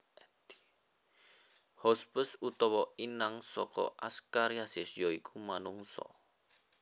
Hospes utawa inang saka Askariasis ya iku manungsa